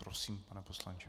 Prosím, pane poslanče.